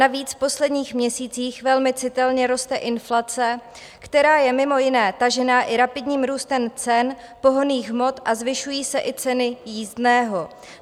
Navíc v posledních měsících velmi citelně roste inflace, která je mimo jiné tažená i rapidním růstem cen pohonných hmot, zvyšují se i ceny jízdného.